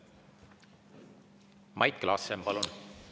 Mait Klaassen, palun!